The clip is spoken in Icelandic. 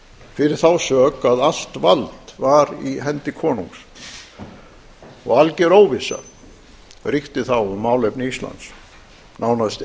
fyrir þá sök að allt vald var í hendi konungs og alger óvissa ríkti þá um málefni íslands nánast